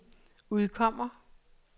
udkommer